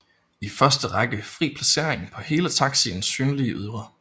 I første række fri placering på hele taxiens synlige ydre